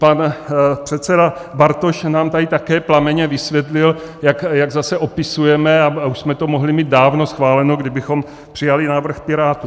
Pan předseda Bartoš nám tady také plamenně vysvětlil, jak zase opisujeme a už jsme to mohli mít dávno schváleno, kdybychom přijali návrh Pirátů.